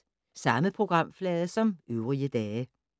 Samme programflade som øvrige dage